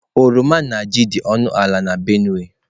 Oroma na ji dị ọnụ ala na Benue steeti.